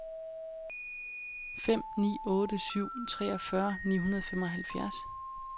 fem ni otte syv treogfyrre ni hundrede og femoghalvfjerds